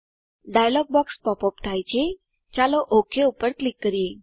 dialog box pop up થાય છે ચાલો ઓક પર ક્લિક કરીએ